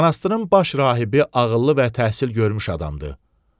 Monastırın baş rahibi ağıllı və təhsil görmüş adamdır.